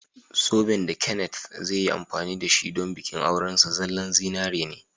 Zoben da Kenneth zai yi amfani da shi don bikin aurensa zallan zinari ne.